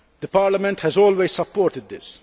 Parliament has always supported this.